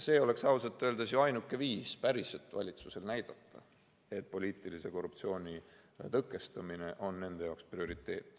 See oleks ausalt öeldes ju valitsusel ainuke viis päriselt näidata, et poliitilise korruptsiooni tõkestamine on nende prioriteet.